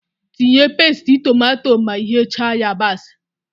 Tinye pasti tomato ma ighecha yabasị